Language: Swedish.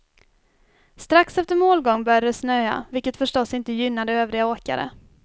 Strax efter målgång började det snöa, vilket förstås inte gynnade övriga åkare.